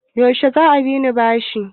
yaushe za a binne shi?